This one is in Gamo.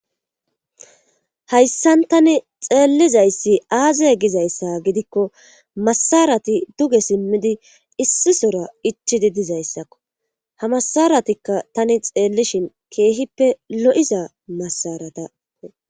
hayssan tani xeellizayssi aaze gizayssa gidikko masarati duge simmidi issisora ichidi dizayssakko ha masaratikka tani xeellishin keehippe lo7iza masarata